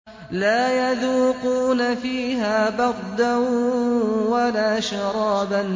لَّا يَذُوقُونَ فِيهَا بَرْدًا وَلَا شَرَابًا